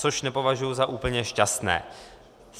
Což nepovažuji za úplně šťastné.